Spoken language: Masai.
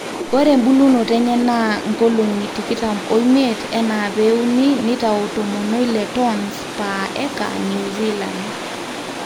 ore embulunoto enye naa nkolong'i tikitam ooiimiet enaa pee euni nitau 16 tons per acre new zealand